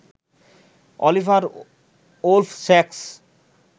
Oliver Wolf sax